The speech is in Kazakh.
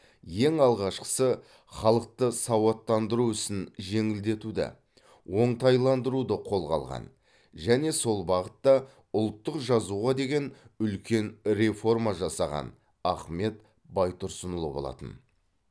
ең алғашқысы халықты сауаттандыру ісін жеңілдетуді оңтайландыруды қолға алған және сол бағытта ұлттық жазуға деген үлкен реформа жасаған ахмет байтұрсынұлы болатын